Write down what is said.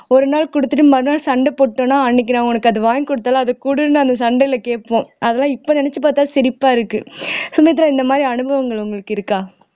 ஒரு நாள் கொடுத்துட்டு மறுநாள் சண்டை போட்டோம்னா அன்னைக்கு நான் உனக்கு அதை வாங்கி கொடுத்தாலும் அதை கொடுன்னு அந்த சண்டையில கேட்போம் அதெல்லாம் இப்ப நினைச்சு பார்த்தா சிரிப்பா இருக்கு சுமித்ரா இந்த மாதிரி அனுபவங்கள் உங்களுக்கு இருக்கா